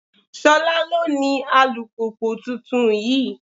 Ṣolá ló ní alùpùpù tuntun yìí.